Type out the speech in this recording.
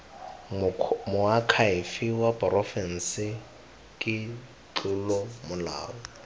moakhaefe wa porofense ke tlolomolao